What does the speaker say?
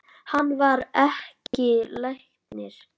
Hann var ekki læknir.